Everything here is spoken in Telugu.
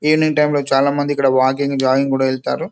ఈవెనింగ్ టైమ్ లో చాలా మంది ఇక్కడ జాగింగ్ వాకింగ్ కూడా వెళ్తారు